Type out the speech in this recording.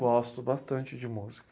Gosto bastante de música.